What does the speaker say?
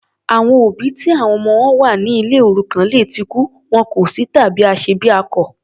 Àwọn òbí ti àwọn ọmọ wọn wà ní ilé òrukàn lè tí kú, wọn kò sí tàbí aṣebiakọ.